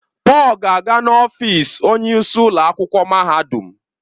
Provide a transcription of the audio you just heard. Paul ga-aga n'ọfịs onyeisi ụlọ akwụkwọ mahadum.